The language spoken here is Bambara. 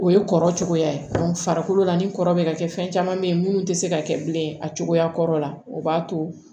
O ye kɔrɔ cogoya ye farikolo la ni kɔrɔ bɛ ka kɛ fɛn caman bɛ ye munnu tɛ se ka kɛ bilen a cogoya kɔrɔ la o b'a to